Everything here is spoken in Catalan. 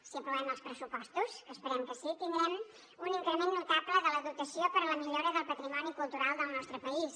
si aprovem els pressupostos que esperem que sí tindrem un increment notable de la dotació per a la millora del patrimoni cultural del nostre país